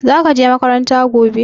Zaka je makaranta gobe